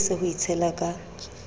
ako lese ho itshela ka